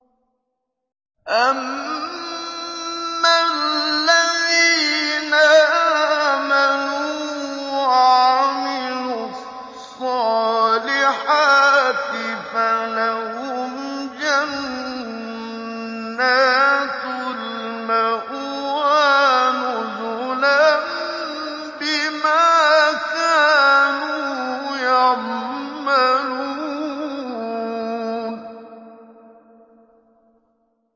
أَمَّا الَّذِينَ آمَنُوا وَعَمِلُوا الصَّالِحَاتِ فَلَهُمْ جَنَّاتُ الْمَأْوَىٰ نُزُلًا بِمَا كَانُوا يَعْمَلُونَ